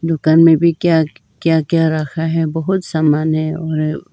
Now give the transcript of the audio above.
दुकान में भी क्या क्या क्या रखा है बहुत समान है और--